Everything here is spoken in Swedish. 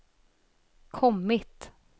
kommit